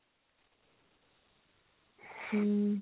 ହୁଁ